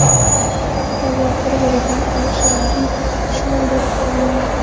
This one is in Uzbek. Ikki davlat bir-biriga ashaddiy dushman bo‘lib qolgandi.